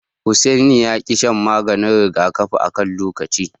Hussaini ya ki shan maganin rigakafi akan lokaci.